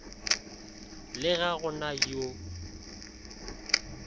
le ga go na yo